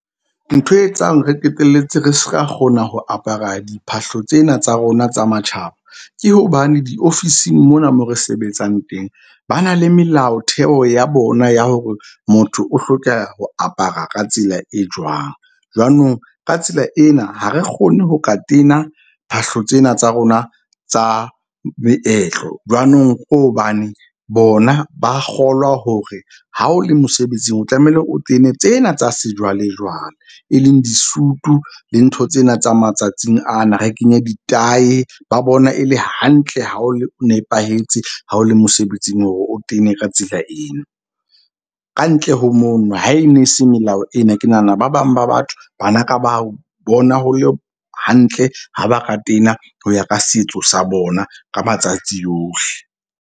Ntho e etsang re qeteletse re ska kgona ho apara diphahlo tsena tsa rona tsa matjhaba, ke hobane diofising mona mo re sebetsang teng. Ba na le melaotheo ya bona ya hore motho o hloka ho apara ka tsela e jwang. Jwanong ka tsela ena, ha re kgone ho ka tena phahlo tsena tsa rona tsa meetlo. Jwanong ko hobane bona ba kgolwa hore ha o le mosebetsing, o tlamehile o tene tsena tsa sejwalejwale. E leng disutu le ntho tsena tsa matsatsing ana, re kenye di tahi ba bona e le hantle ha o nepahetse ha o le mosebetsing hore o tene ka tsela eno. Kantle ho mono ha e ne se melao ena. Ke nahana ba bang ba batho bana ka ba bona ho le hantle ha ba ka tena ho ya ka setso sa bona ka matsatsi yohle.